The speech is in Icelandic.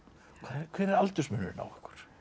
hver er aldursmunurinn á ykkur